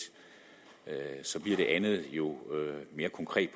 bliver det andet jo mere konkret